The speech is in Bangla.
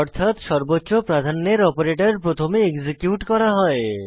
অর্থাৎ সর্বোচ্চ প্রাধান্যের অপারেটর প্রথমে এক্সিকিউট করা হয়